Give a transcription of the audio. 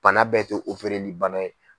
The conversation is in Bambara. Bana bɛɛ tɛ bana ye.